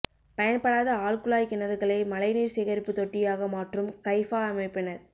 பயன்படாத ஆழ்குழாய் கிணறுகளை மழை நீா் சேகரிப்பு தொட்டியாகமாற்றும் கைஃபா அமைப்பினா்